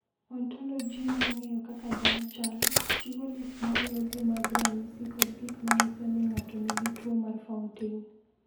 "Ontoloji mar ng’eyo kaka dhano chalo, chiwo list ma luwogi mag ranyisi kod gik ma nyiso ni ng’ato nigi tuwo mar Fountain."